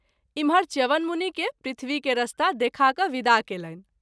इमहर च्यवन मुनि के पृथ्वी के रास्ता देखा क’ विदा कएलनि।